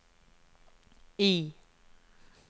I